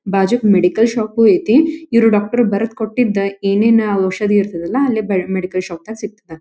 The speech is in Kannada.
ಬಾಜುಕ್ ಮೆಡಿಕಲ್ ಶಾಪ್ ಉ ಐತಿ ಇವರು ಡಾಕ್ಟರ್ ಬರೆದ ಕೊಟ್ಟಿದ್ದ ಏನೇನ ಔಷಧಿ ಇರ್ತದಲ್ಲ ಅಲ್ಲಿ ಮೆಡಿಕಲ್ ಶಾಪ್ ದಾಗ್ ಸಿಗ್ತದ.